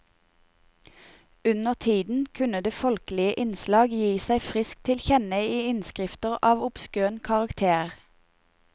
Undertiden kunne det folkelige innslag gi seg friskt til kjenne i innskrifter av obskøn karakter.